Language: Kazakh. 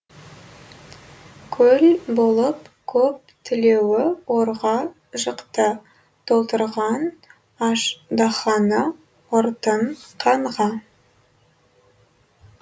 көл болып көп тілеуі орға жықты толтырған аждаһаны ұртын қанға